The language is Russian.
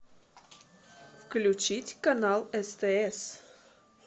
включить канал стс